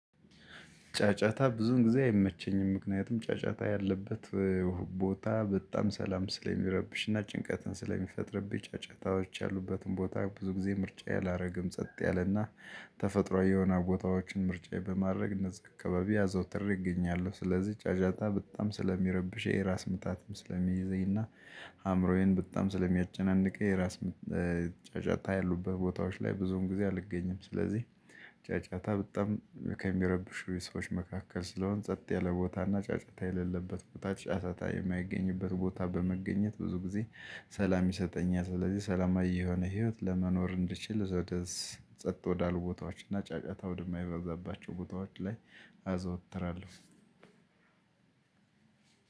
ጫጫታ ብዙን ጊዜ አይመቸኝም ምክንያቱም ጫጫታ ያለበት ቦታ በጣም ሰላም ስለሚረብሽና ጭንቀትን ስለሚፈጥርብኝ ጫጫታዎች ያሉበትን ቦታ ብዙ ጊዜ ምርጫዬ አላረግም ጸጥ ያለና ተፈጥሮአዊ የሆኑ ቦታዎችን ምርጫዬ በማድረግ እነዚህ አካባቢ አዘውትሬ እገኛለሁ። ስለዚህ ጫጫታ በጣም ስለሚረብሽኝ ራስ ምታትም ስለሚይዘኝና አምሮዬን በጣም ስለሚያጨናንቅኝ የራስ ጫጫታ ያሉቡት ቦታዎች ላይ ብዙም ጊዜ አልገኝም። ስለዚህ ጫጫታ በጣም ከሚረብሹ የሰዎች መካከል ስለሆን ጸጥ ያለ ቦታና ጫጫታ የሌለበት ቦታ ጫጫታ የማይገኝበት ቦታ በመገኘት ብዙ ጊዜ ሰላም ይሰጠኛል። ስለዚህ ሰላማዊ የሆነ ህይወት ለመኖር እንድትችል ዘደስ ጸጥ ወዳሉ ቦታዎች እና ጫጫታ ወደማይረዛባቸው ቦታዎች ላይ አዘወትራለሁ።